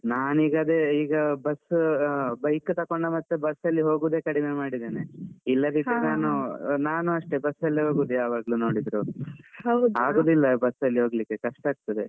ನಾನೀಗ ಅದೇ ಈಗ bus bike ತಕೊಂಡ ಮತ್ತೆ bus ಅಲ್ಲಿ ಹೋಗುದೇ ಕಡಿಮೆ ಮಾಡಿದ್ದೇನೆ. ಇಲ್ಲದಿದ್ರೆ ನಾನು ನಾನು ಅಷ್ಟೇ bus ಅಲ್ಲೇ ಹೋಗುದು ಯಾವಾಗ್ಲೂ ನೋಡಿದ್ರು. ಆಗುದಿಲ್ಲ bus ಅಲ್ಲಿ ಹೋಗ್ಲಿಕ್ಕೆ ಕಷ್ಟ ಆಗ್ತದೆ.